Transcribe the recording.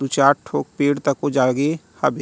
दू चार ठो पेड़ तको जागे हाबे।